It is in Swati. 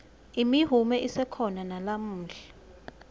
imihume isekhona nalamuhla